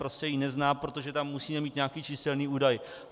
Prostě ji nezná, protože tam musí být nějaký číselný údaj.